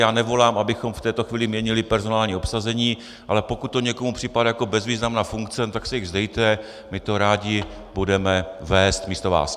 Já nevolám, abychom v této chvíli měnili personální obsazení, ale pokud to někomu připadá jako bezvýznamná funkce, tak se jich vzdejte, my to rádi budeme vést místo vás.